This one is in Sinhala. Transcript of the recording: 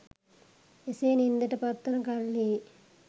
එසේ නින්දට පත්වන කල්හි